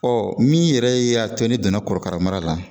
min yɛrɛ y'a to ne donna kɔrɔkara mara la